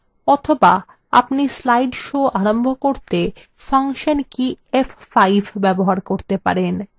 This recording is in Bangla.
অথবা আপনি slide show আরম্ভ করতে ফাংশন key f5 ব্যবহার করতে পারেন